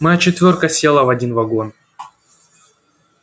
моя четвёрка села в один вагон